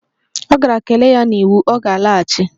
Ọ gara kelee ya n'iwu, ọ ga-alaghachi